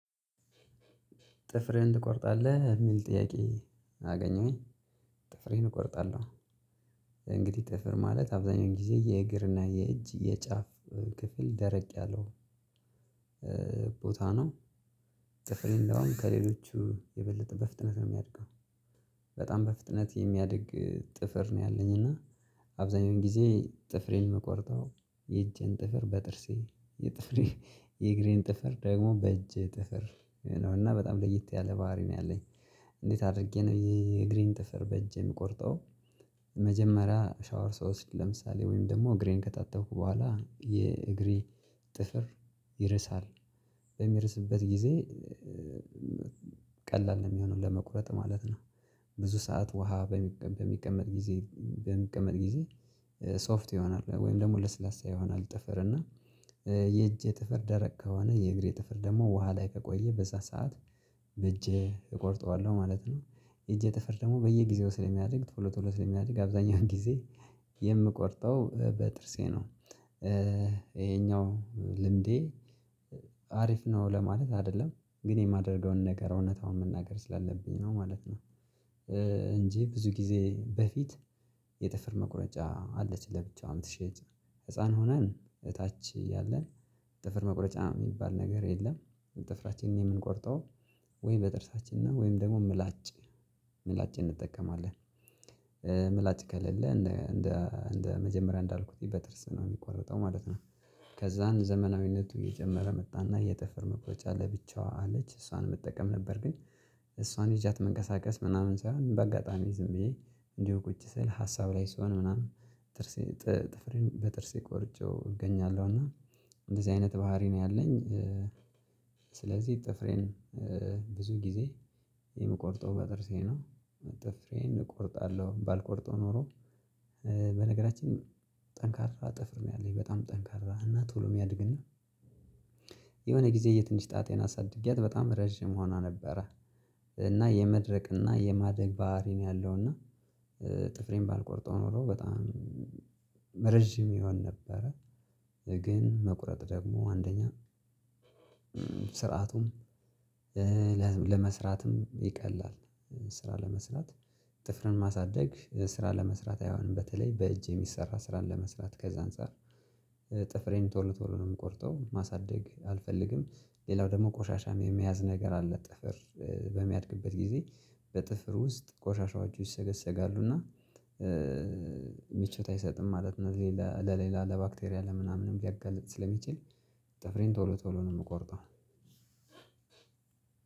ጥፍርህን ትቆርጣለህ የሚል ጥያቄ? አገኘሁኝ ጥፍሬን እቆርጣለሁ። ጥፍር ማለት አብዛኛው ጊዜ የእግር እና የእጅ የጫፍ ክፍል ደረቅ ያለው ቦታ ነው። ጥፍር እንደውም ከሌሎቹ የበለጠ በፍጥነት ነው የሚያድገው። በጣም በፍጥነት የሚያድግ ጥፍር ነው ያለኝ እና። አብዛኛውን ጊዜ ጥፍሬን ምቆርጠው የእጅን ጥፍር በጥርሴ የጥፍሬ የእግሬን ጥፍር ደግሞ በእጄ ጥፍር ነው እና በጣም ለየት ያለ ባህሪ ነው ያለኝ። እንዴት አድርጌ ነው ይሄ የእግሬን ጥፍር በእጄ የምቆርጠው? መጀመሪያ ሻወር ስወስድ ለምሳሌ ወይም ደግሞ እግሬን ከታጠብኩ በኋላ የእግሬ ጥፍር ይርሳል በሚርስበት ጊዜ ቀላል ነው የሚሆነው ለመቁረጥ ማለት ነው። ብዙ ሰዓት ውሃ በሚቀመጥ ጊዜ በሚቀመጥ ጊዜ ሶፍት ይሆናል ወይም ደግሞ ለስላሳ ይሆናል ጥፍር እና። የእጅ ጥፍር ደረቅ ከሆነ የእግሬ ጥፍር ደግሞ ውሃ ላይ ከቆየ በዛ ሰዓት በእጄ እቆርጠዋለሁ ማለት ነው። እጄ ጥፍር ደግሞ በየጊዜው ስለሚያድግ ቶሎ ቶሎ ስለሚያድግ አብዛኛውን ጊዜ የምቆርጠው በጥርሴ ነው። ይሄኛው ልምዴ አሪፍ ነው ለማለት አይደለም ግን የማደርገውን ነገር እውነታውን መናገር ስላለብኝ ነው ማለት ነው። እንጂ ብዙ ጊዜ በፊት የጥፍር መቁረጫ አለች ለብቸዋ የምትሸጥ ህፃን ሆነን እታች ያለን ጥፍር መቁረጫ የሚባል ነገር የለም። ጥፍራችንን የምንቆርጠው ወይም በጥርሳችን ነው ወይም ደግሞ ምላጭ ምላጭ እንጠቀማለን። ምላጭ ከሌለ እንደ እንደ መጀመሪያ እንዳልኩት በጥርስ ነው የሚቆርጠው ማለት ነው። ከዛን ዘመናዊነቱ እየጀመረ መጣና የጥፍር መቁረጫ ለብቻዋ አለች እሷን መጠቀም ነበር ግን። እሷን ይጃት መንቀሳቀስ ምናምን ሳይሆን በአጋጣሚ ዝም ብዬ እንዲሁ ቁጭ ስል ሀሳብ ላይ ስሆን ምናምን ጥርሴ ጥፍሬን በጥርሴ ቆርጬው እገኛለሁ እና እንደዚህ አይነት ባህሪ ነው ያለኝ። ስለዚህ ጥፍሬን ብዙ ጊዜ የምቆርጠው በጥርሴ ነው። ጥፍሬን እቆርጣለሁ ባልቆርጠው ኖሮ። በነገራችን ጠንካራ ጥፍር ነው ያለኝ በጣም ጠንካራ እና ቶሎ የሚያድግና የሆነ ጊዜ የትንሽ ጣቴን አሳድጊያት በጣም ረጅም ሆኗ ነበረ። እና የመድረቅ እና የማደግ ባህሪ ነው ያለው እና። ጥፍሬን ባልቆርጠው ኖሮ በጣም ረጅም ይሆን ነበረ። ግን መቁረጥ ደግሞ አንደኛ ስርዓቱም ለመስራትም ይቀላል። ስራ ለመስራት ጥፍርን ማሳደግ ስራ ለመስራት አይሆንም በተለይ በእጅ የሚሰራ ስራን ለመስራት ከዛ አንፃር። ጥፍሬን ቶሎ ቶሎ ነው የምቆርጠው ማሳደግ አልፈልግም። ሌላው ደግሞ ቆሻሻ የመያዝ ነገር አለ ጥፍር በሚያድግበት ጊዜ በጥፍር ውስጥ ቆሻሻው አጁ ይሰገሰጋሉ እና። ምቾት አይሰጥም ማለት ነው። ሌላ ለሌላ ለባክቴሪያ ለምናምንም ሊያጋልጥ ስለሚችል። ጥፍሬን ቶሎ ቶሎ ነው የምቆርጠው።